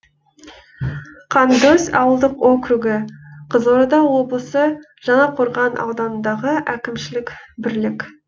қандөз ауылдық округі қызылорда облысы жаңақорған ауданындағы әкімшілік бірлік